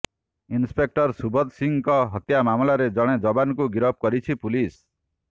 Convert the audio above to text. inspector Subodh ସିଂଙ୍କ ହତ୍ୟା ମାମଲାରେ ଜଣେ ଯବାନଙ୍କୁ ଗିରଫ କରିଛି ପୁଲିସ